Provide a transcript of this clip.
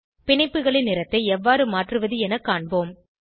பிணைப்புகளின் நிறத்தை எவ்வாறு மாற்றுவது என காண்போம்